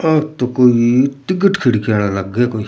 आ तो कोई टिकिट खिड़कियां लागे कोई।